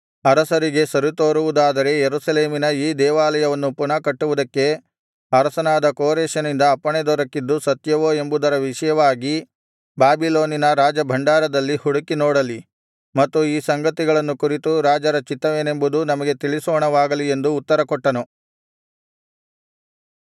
ಅರಸರಿಗೆ ಸರಿತೋರುವುದಾದರೆ ಯೆರೂಸಲೇಮಿನ ಈ ದೇವಾಲಯವನ್ನು ಪುನಃ ಕಟ್ಟುವುದಕ್ಕೆ ಅರಸನಾದ ಕೋರೆಷನಿಂದ ಅಪ್ಪಣೆ ದೊರಕಿದ್ದು ಸತ್ಯವೋ ಎಂಬುದರ ವಿಷಯವಾಗಿ ಬಾಬಿಲೋನಿನ ರಾಜಭಂಡಾರದಲ್ಲಿ ಹುಡುಕಿ ನೋಡಲಿ ಮತ್ತು ಈ ಸಂಗತಿಯನ್ನು ಕುರಿತು ರಾಜರ ಚಿತ್ತವೇನೆಂಬುದು ನಮಗೆ ತಿಳಿಸೋಣವಾಗಲಿ ಎಂದು ಉತ್ತರಕೊಟ್ಟನು